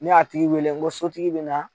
Ni a tigi wele n ko sotigi bɛ na